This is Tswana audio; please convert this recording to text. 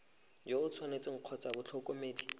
yo o tshwanetseng kgotsa motlhokomedi